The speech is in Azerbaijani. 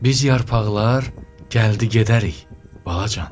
Biz yarpaqlar gəldi-gedərik, balacan.